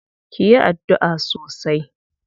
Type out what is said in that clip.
Ki yi addu'a sosai.